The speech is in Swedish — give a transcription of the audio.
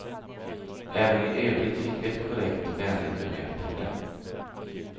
Även i övrigt fick vi ett korrekt och vänligt bemötande.